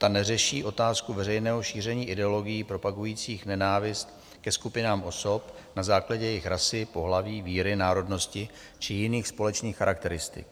Ta neřeší otázku veřejného šíření ideologií propagujících nenávist ke skupinám osob na základě jejich rasy, pohlaví, víry, národnosti či jiných společných charakteristik.